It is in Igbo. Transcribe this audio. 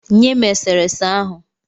Nye m e sere ese ahụ.